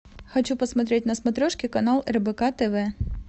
хочу посмотреть на смотрешке канал рбк тв